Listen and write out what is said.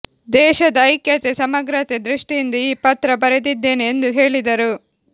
ದೇಶದ ಐಕ್ಯತೆ ಸಮಗ್ರತೆ ದೃಷ್ಟಿಯಿಂದ ಈ ಪತ್ರ ಬರೆದಿದ್ದೇನೆ ಎಂದು ಹೇಳಿದರು